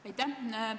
Aitäh!